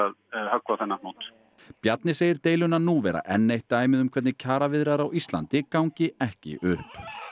á þennan hnút Bjarni segir deiluna nú vera enn eitt dæmið um hvernig kjaraviðræður á Íslandi gangi ekki upp